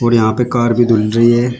और यहां पे कार भी धूल रही है।